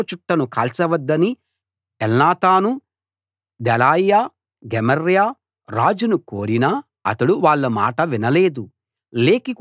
పుస్తకపు చుట్టను కాల్చవద్దని Elnathan Delaiah Gemariah రాజును కోరినా అతడు వాళ్ళ మాట వినలేదు